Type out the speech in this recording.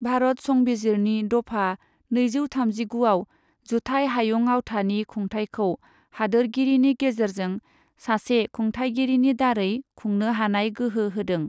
भारत संबिजिरनि दफा नैजौ थामजिगुआव जुथाइ हायुं आवथानि खुंथायखौ हादोरगिरिनि गेजेरजों सासे खुंथाइगिरिनि दारै खुंनो हानाय गोहो होदों।